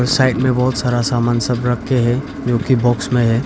Side में बहुत सारा सामान सब रख के है जोकि बॉक्स में है।